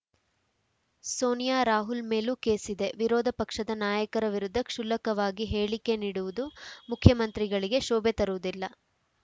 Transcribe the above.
ಸೋನಿಯಾ ರಾಹುಲ್‌ ಮೇಲೂ ಕೇಸಿದೆ ವಿರೋಧ ಪಕ್ಷದ ನಾಯಕರ ವಿರುದ್ಧ ಕ್ಷುಲ್ಲಕವಾಗಿ ಹೇಳಿಕೆ ನೀಡುವುದು ಮುಖ್ಯಮಂತ್ರಿಗಳಿಗೆ ಶೋಭೆ ತರುವುದಿಲ್ಲ